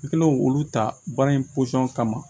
I kɛlen k'olu ta baara in pɔsɔn kama